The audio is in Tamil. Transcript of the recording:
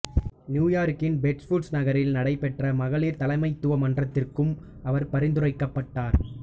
நியூயார்க்கின் பெஸ்ட்ஃபுட்ஸ் நகரில் நடைபெற்ற மகளிர் தலைமைத்துவ மன்றத்திற்கும் அவர் பரிந்துரைக்கப்பட்டார்